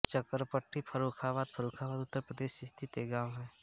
चकरपट्टी फर्रुखाबाद फर्रुखाबाद उत्तर प्रदेश स्थित एक गाँव है